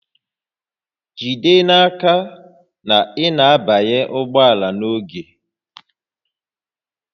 Jide n'aka na ị na-abanye ụgbọ ala n'oge